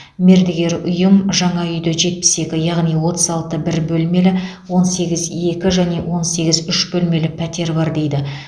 мердігер ұйым жаңа үйде жетпіс екі яғни отыз алты бір бөлмелі он сегіз екі және он сегіз үш бөлмелі пәтер бар дейді